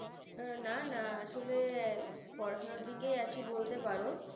না না আসলে পড়াশোনার দিকেই আছি বলতে পারো ।